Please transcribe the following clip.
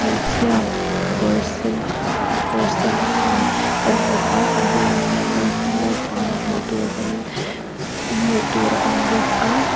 hmeichhia kawr sen kawr sen ha kan hmu a a bulah hian no naupang hmuh tur kan hmuh tur a awm bawk a.